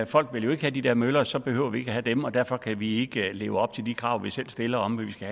folk vil jo ikke have de der møller og så behøver vi ikke at have dem og derfor kan vi ikke leve op til de krav vi selv stiller om at vi skal